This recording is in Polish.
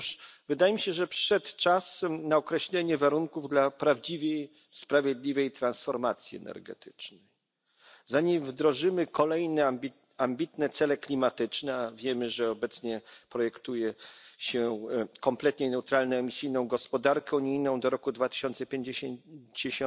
Otóż wydaje mi się, że przyszedł czas na określenie warunków dla prawdziwie sprawiedliwej transformacji energetycznej. Zanim wdrożymy kolejne ambitne cele klimatyczne a wiemy, że obecnie projektuje się kompletnie neutralną emisyjnie gospodarkę unijną do 2050 r.